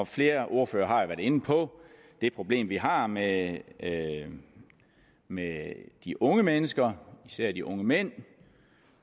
flere ordførere har jo været inde på det problem vi har med med de unge mennesker især de unge mænd